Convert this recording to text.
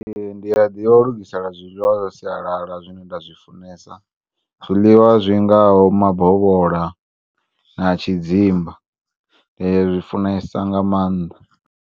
Ee, ndiyaḓivha u lugisela zwiḽiwa zwa sialala zwine ndazwifunesa, zwiḽiwa zwingaho mabovhola na tshidzimba, ndia zwi funesa nga maanḓa.